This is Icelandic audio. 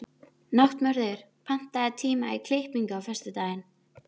Náttmörður, pantaðu tíma í klippingu á föstudaginn.